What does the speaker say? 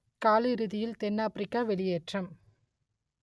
காலிறுதியில் தென்னாப்பிரிக்கா வெளியேற்றம்